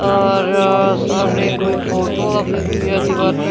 और सामने कोई फोटो लगी हुई है दीवार पे--